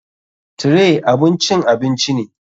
Tray abun cin abinci ne.